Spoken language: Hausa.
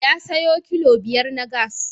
Ya sayo kilo biyar na gas.